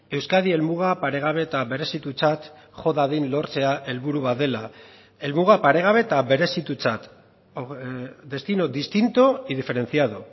euskadi helmuga paregabe eta berezitutzat jo dadin lortzea helburu bat dela helmuga paregabe eta berezitutzat destino distinto y diferenciado